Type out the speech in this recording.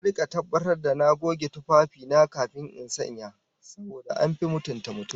Zan rika tabbatar da na goge tufafi na kafin in sanya, saboda an fi mutunta mutum